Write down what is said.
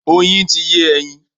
Oyin ti yé ẹyin.